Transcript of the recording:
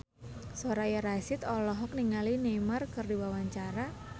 Soraya Rasyid olohok ningali Neymar keur diwawancara